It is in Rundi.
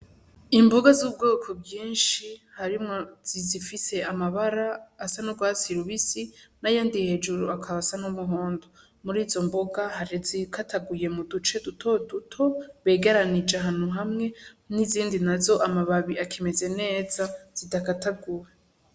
Imboga z'ubwoko bwinshi harimwo izifise amabara asa n' ugwatsi rubisi n'ayandi hejuru akaba asa n' umuhondo, muri izo mboga hari izikataguye mu duce duto duto bigeranije ahantu hamwe n' izindi nazo amababi akimeze neza zidakataguye.